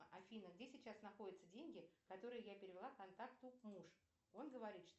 афина где сейчас находятся деньги которые я перевела контакту муж он говорит что